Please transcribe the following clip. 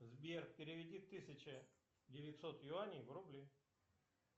сбер переведи тысяча девятьсот юаней в рубли